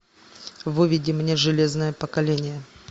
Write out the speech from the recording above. выведи мне железное поколение